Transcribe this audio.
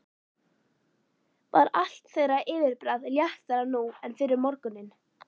Var allt þeirra yfirbragð léttara nú en fyrr um morguninn.